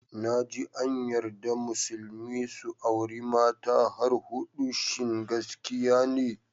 Naji an yarda musulmi su auri mata har hudu, shin gaskiya ne?